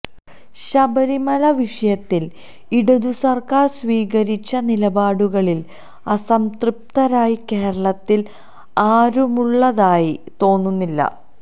ശബരിമല വിഷയത്തില് ഇടതു സര്ക്കാര് സ്വീകരിച്ച നിലപാടുകളില് അസംതൃപ്തരായി കേരളത്തില് ആരുമുള്ളതായി തോന്നുന്നില്ല